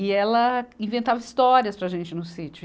e ela inventava histórias para a gente no sítio.